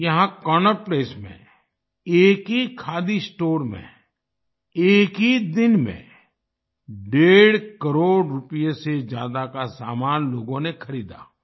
यहाँ Connaught Place में एक ही खादी स्टोर में एक ही दिन में डेढ़ करोड़ रुपये से ज्यादा का सामान लोगों ने खरीदा